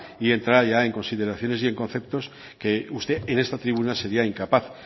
y entra ya en consideraciones y en conceptos que usted en esta tribuna sería incapaz